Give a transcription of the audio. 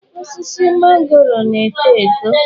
Osisi magoro na-eto eto.